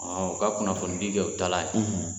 Ɔ u ka kunnafonidi kɛ u taalan ye